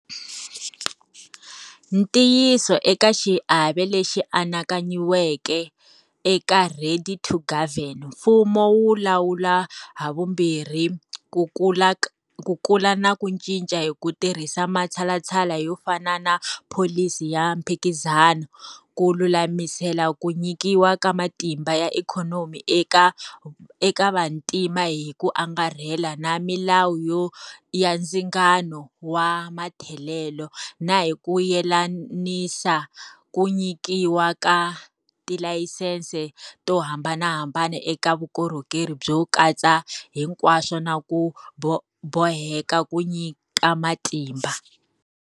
Ntiyiso eka xiave lexi anakanyiweke eka 'Ready to Govern', mfumo wu lawula havumbirhi ku kula na ku cinca hi ku tirhisa matshalatshala yo fana na pholisi ya mphikizano, ku lulamisela ku nyikiwa ka matimba ya ikhonomi eka vantima hi ku angarhela na milawu ya ndzingano wa matholelo, na hi ku yelanisa ku nyikiwa ka tilayisense to hambanahambana eka vukorhokeri byo katsa hinkwaswo na ku boheka ku nyika matimba.